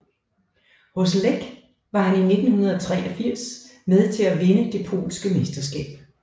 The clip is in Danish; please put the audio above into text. Hos Lech var han i 1983 med til at vinde det polske mesterskab